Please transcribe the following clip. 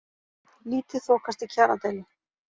Lítið þokast í kjaradeilu